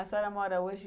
A senhora mora hoje...